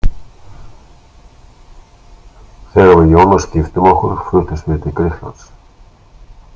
Þegar við Ionas giftum okkur fluttumst við til Grikklands.